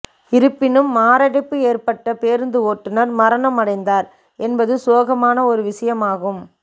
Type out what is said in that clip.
இருப்பினும் மாரடைப்பு ஏற்பட்ட பேருந்து ஓட்டுநர் மரணம் அடைந்தார் என்பது சோகமான ஒரு விஷயமாகும்